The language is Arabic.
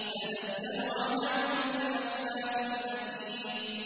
تَنَزَّلُ عَلَىٰ كُلِّ أَفَّاكٍ أَثِيمٍ